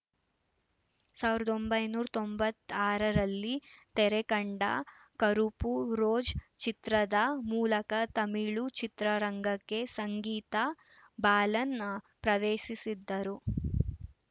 ಸಾವಿರದ ಒಂಬೈನೂರ ತೊಂಬತ್ತಾರರಲ್ಲಿ ತೆರೆಕಂಡ ಕರುಪ್ಪು ರೋಜ್ ಚಿತ್ರದ ಮೂಲಕ ತಮಿಳು ಚಿತ್ರರಂಗಕ್ಕೆ ಸಂಗೀತಾ ಬಾಲನ್‌ ಪ್ರವೇಸಿಸಿದ್ದರು